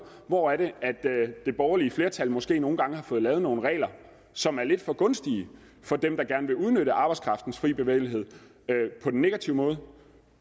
hvor det borgerlige flertal måske nogle gange har fået lavet nogle regler som er lidt for gunstige for dem der gerne vil udnytte arbejdskraftens frie bevægelighed på den negative måde